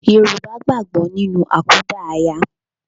Yorùbá gbàgbọ́ nínú àkúdàáyá